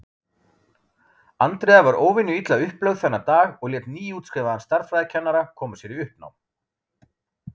Andrea var óvenju illa upplögð þennan dag og lét nýútskrifaðan stærðfræðikennara koma sér í uppnám.